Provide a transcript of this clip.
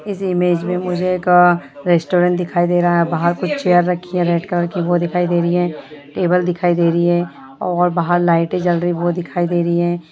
इस इमेज में मुझे एक अ रेस्टोरेंट दिखाई दे रहा है बाहर कुछ चेयर रखी रेड कलर की वो दिकहि दे रही है टेबल दिखाई दे रही है और बाहर लाइटे जल रही वो दिखाई दे रहा है।